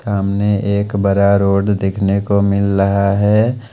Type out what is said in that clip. सामने एक बरा रोड देखने को मिल लहा है।